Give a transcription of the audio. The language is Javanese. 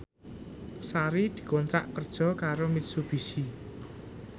Sari dikontrak kerja karo Mitsubishi